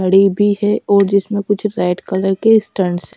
घड़ी भी है और जिसमें कुछ रेड कलर के स्टंट्स --